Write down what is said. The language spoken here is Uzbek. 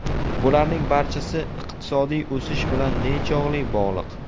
Bularning barchasi iqtisodiy o‘sish bilan nechog‘li bog‘liq?